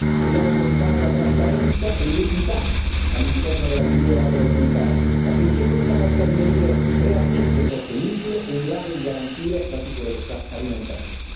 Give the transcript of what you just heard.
Dobbiamo aumentare la trasparenza e l'equità all'interno della filiera agroalimentare, affinché questa possa diventare realmente sostenibile ed in grado di garantire la sicurezza alimentare.